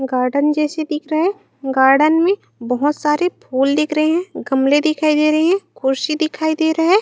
Garden जैसी दिख रहा है गार्डन में बहोत सारे फूल दिख रहे है गमले दिखाई दे रहे है कुर्सी दिखाई दे रहा है।